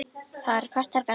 Það eru kostir og gallar.